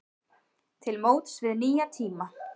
Til móts við nýja tíma